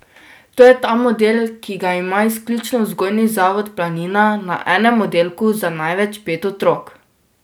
To je ta model, ki ga ima izključno Vzgojni zavod Planina na enem oddelku za največ pet otrok.